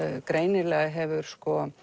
greinilega hefur